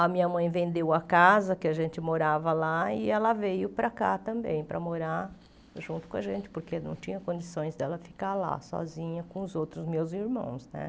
A minha mãe vendeu a casa que a gente morava lá e ela veio para cá também para morar junto com a gente, porque não tinha condições dela ficar lá sozinha com os outros meus irmãos, né?